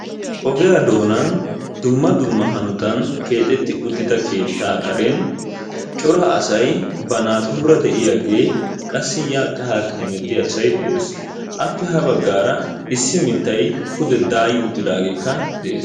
Ogiya doonan dumma dumma hanotan keexetti uttida keettaa karen cora asay ba naatura de'iyage qassi yaakka haakka heemettiya asay de'ees. Appe ha baggaara issi miittay pude daayi uttidaageekka de'ees.